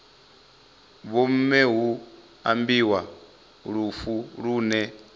vhomme hu ambiwa lufu lune